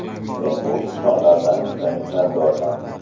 Men bu insonlardan juda minnatdorman.